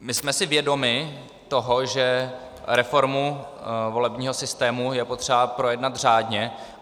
My jsme si vědomi toho, že reformu volebního systému je potřeba projednat řádně.